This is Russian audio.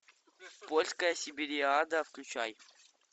польская сибириада включай